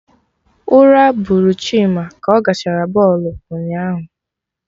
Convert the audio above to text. Ura bụrụ Chima ka ọ gachara bọlụ ụnyaahụ